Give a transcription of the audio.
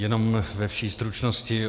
Jenom ve vší stručnosti.